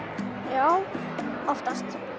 já oftast